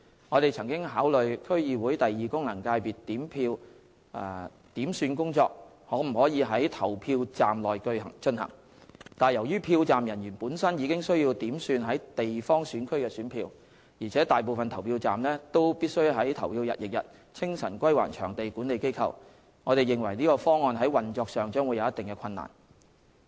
我們曾考慮區議會功能界別選票點算工作可否在投票站內進行，但由於票站人員本身已需要點算地方選區的選票，而且大部分投票站必須在投票日翌日清晨歸還場地管理機構，我們認為這個方案在運作上將會有一定的困難。